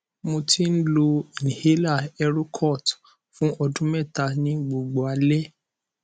mo ti n lo inhaler erocort fun ọdun mẹta ni gbogbo alẹ